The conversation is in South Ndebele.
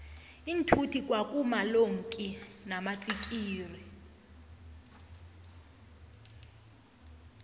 iinthuthi kwa kuma lonki namatsikixi